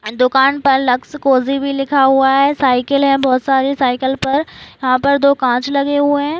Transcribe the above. दुकान पर Lux Cozi भी लिखा हुआ है साइकिल है बोहोत सारी साइकिल पर यहा पर दो काँच लगे हुए है।